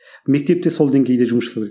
мектепте сол деңгейде жұмыс жасау керек